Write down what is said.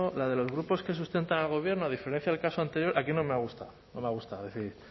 la de los grupos que sustentan al gobierno a diferencia del caso anterior aquí no me ha gustado no me ha gustado es decir